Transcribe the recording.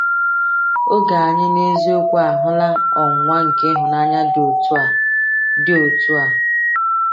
Oge anyị n’eziokwu ahụla ọnwụnwa nke ịhụnanya dị otu a. dị otu a.